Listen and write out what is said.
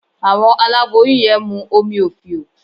Àwọn àláboyún yẹn mú omí ofío